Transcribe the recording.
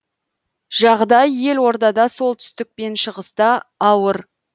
жағдай елордада солтүстік пен шығыста ауыр